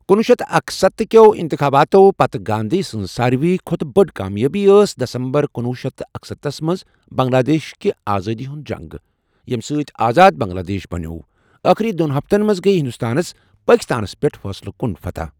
کُنوُہ شیٚتھ تہٕ اکستتھہٕ کٮ۪و اِنتخاباتو پتہٕ گاندھی سٕنز ساروٕے کھوتہٕ بٔڑ کامیٲبی ٲس دسمبر کُنوُہ شیٚتھ تہٕ اکستتھس منز بنگلا دیش كہِ آزٲدی ہُند جنگ ، ییٚمہِ سٕتۍ آزاد بنگلا دیش بنیو ، ٲخری دۄن ہفتن منٛز گٔیۍ ہندوستانس پٲکستانس پیٹھ فٲصلہٕ کُن فتح ۔